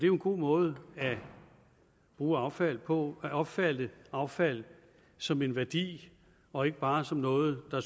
jo en god måde at bruge affald på at opfatte affald som en værdi og ikke bare som noget der